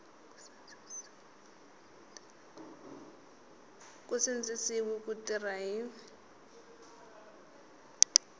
nge sindzisiwi ku tirha hi